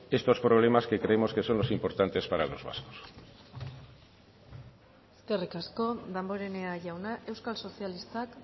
estos problemas que creemos que son los importantes para los vascos eskerrik asko damborenea jauna euskal sozialistak